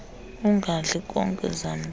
ungadli nkobe zamntu